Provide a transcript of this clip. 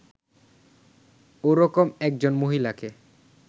ওরকম একজন মহিলাকে